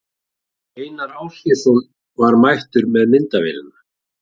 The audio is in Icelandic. Einar Ásgeirsson var mættur með myndavélina.